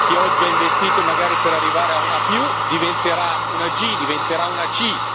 Chi oggi ha investito, magari per arrivare ad un'A diventerà una G, diventerà una C.